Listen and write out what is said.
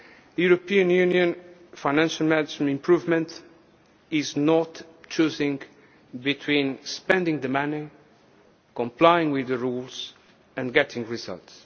targets. European Union financial management improvement is not choosing between spending the money, complying with the rules, and getting